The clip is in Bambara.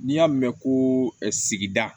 N'i y'a mɛn ko sigida